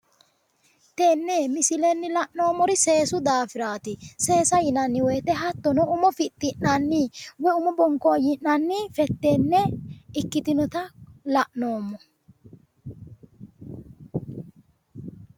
Tenne misillenni la'noonori seesu daafiraati seesa yinnanni woyite hattono umo fixi'nanni woy umu bonkooyi'nanni fetenne ikkitinotta la'noomori.